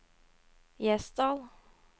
Gjesdal